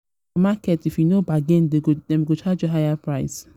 for market if if you no bargain dem go charge you higher price.